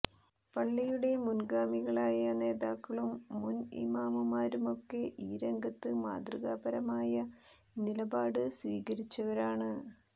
പള്ളിയുടെ മുന്ഗാമികളായ നേതാക്കളും മുന് ഇമാമുമാരുമൊക്കെ ഈ രംഗത്ത് മാതൃകാപരമായ നിലപാട് സ്വീകരിച്ചവരാണ്